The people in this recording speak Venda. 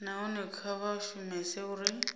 nahone kha vha shumese uri